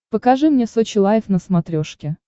покажи мне сочи лайв на смотрешке